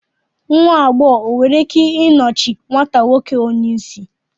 nwa agbọghọ e nwere ike nọchie nwata nwoke onye isi